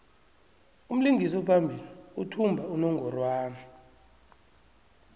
umlingisi ophambili uthumba unongorwand